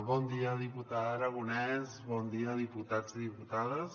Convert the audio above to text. bon dia diputada aragonès bon dia diputats i diputades